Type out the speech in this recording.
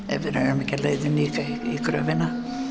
ef við erum ekki á leiðinni í gröfina